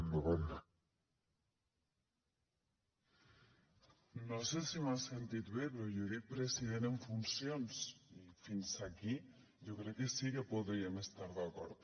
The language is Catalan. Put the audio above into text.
no sé si m’ha sentit bé però jo he dit president en funcions i fins aquí jo crec que sí que podríem estar hi d’acord